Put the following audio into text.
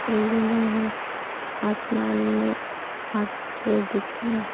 बिल्डिंगें हैं आसमान में हाथ दिख रहे हैं |